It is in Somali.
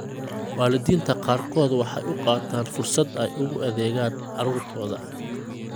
Waalidiinta qaarkood waxay u qaataan fursad ay ugu adeegaan carruurtooda.